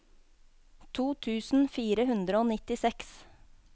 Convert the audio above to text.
to tusen fire hundre og nittiseks